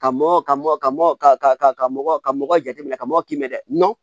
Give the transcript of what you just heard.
Ka mɔ ka mɔ ka mɔ ka mɔgɔ ka mɔgɔ jateminɛ ka mɔgɔ ki bɛ dɛ